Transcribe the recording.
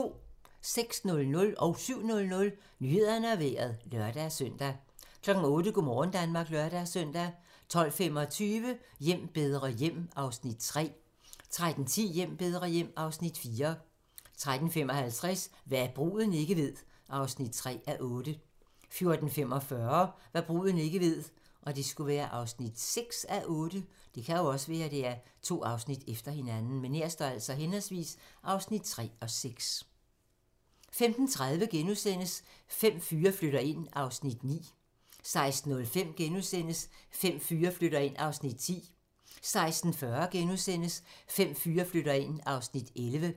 06:00: Nyhederne og Vejret (lør-søn) 07:00: Nyhederne og Vejret (lør-søn) 08:00: Go' morgen Danmark (lør-søn) 12:25: Hjem bedre hjem (Afs. 3) 13:10: Hjem bedre hjem (Afs. 4) 13:55: Hva' bruden ikke ved (3:8) 14:45: Hva' bruden ikke ved (6:8) 15:30: Fem fyre flytter ind (Afs. 9)* 16:05: Fem fyre flytter ind (Afs. 10)* 16:40: Fem fyre flytter ind (Afs. 11)*